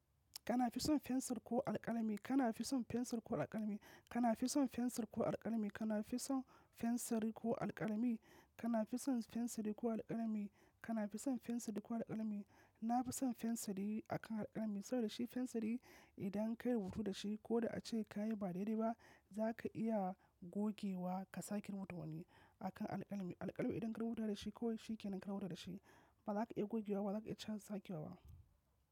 Kana fi son fensir ko alkalami? Kana fi son fensir ko alkalami? Kana fi son fensir ko alkalami? Kana fi son fensiri ko alkalami? Kana fi son fensiri ko alkalami? Kana fi son fensiri ko alkalami? Na fi son fensiri akan alkalami saboda shi fensiri idan ka yi rubutu da shi ko da a ce ka yi ba daidai ba, za ka iya gogewa ka sake rubutawa ne akan alkalami. Alƙalami idan ka yi rubuta da shi ko shi ke nan rawar da shi, ba za ka iya gogewa ba, ba za ka iya canza sake ba.